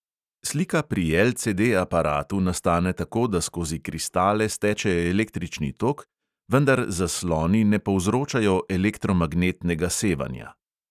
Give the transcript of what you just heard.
Slika pri LCD-aparatu nastane tako, da skozi kristale steče električni tok, vendar zasloni ne povzročajo elektromagnetnega sevanja.